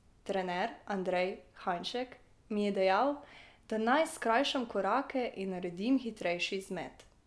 Trener Andrej Hajnšek mi je dejal, da naj skrajšam korake in naredim hitrejši izmet.